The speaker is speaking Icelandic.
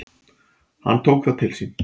Hann tók það til sín: